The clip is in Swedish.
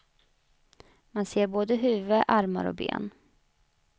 Man ser både huvud, armar och ben.